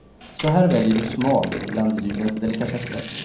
Så här väljer du smalt bland julens delikatesser.